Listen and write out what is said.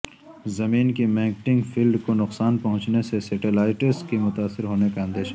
زمین کی magnetic field کو نقصان پہنچنے سے سیٹلائٹس کے متاثر ہونے کا اندیشہ